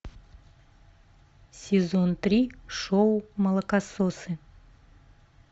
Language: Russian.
сезон три шоу молокососы